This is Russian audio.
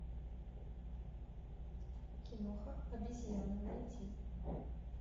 киноха обезьяны найти